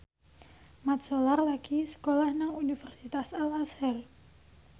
Mat Solar lagi sekolah nang Universitas Al Azhar